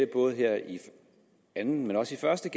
både her i anden og også første